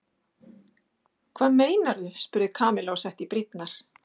Hvað meinarðu? spurði Kamilla og setti í brýnnar.